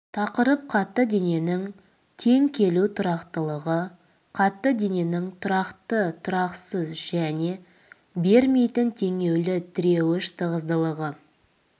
тақырып қатты дененің тең келу тұрақтылығы қатты дененің тұрақты тұрақсыз және бермейтін теңелуі тіреуіш тығыздылығы